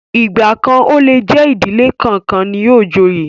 Igba kan o le jẹ ìdílé kánkan ni yóò joyè.